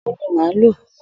Òwú ni màá lò.